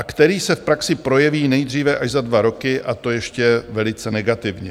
A který se v praxi projeví nejdříve až za dva roky, a to ještě velice negativně.